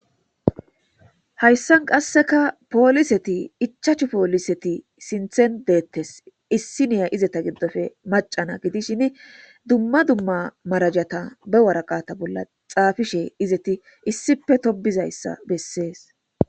hayssan qasseka pooliseti ichachu pooliseti sinthen deettes issi niya izeta giddofe macana gidishin dumma dumma marajata be waraqata bolla xaafishe izeti issipe tobizayssa bessees